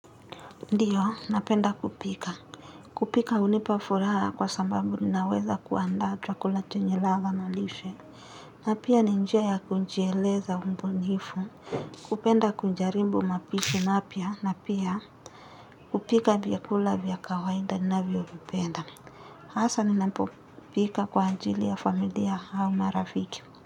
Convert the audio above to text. Ndiyo, napenda kupika. Kupika unipafuraha kwa sambabu ninaweza kuanda tuakula chenye latha na nishe. Napia ninjia ya kunjieleza umbunifu, kupenda kunjarimbu mapishu mapia, napia kupika vyakula vyakawaida ninavyovipenda. Haasa ninapopika kwa anjili ya familia hau maraviki.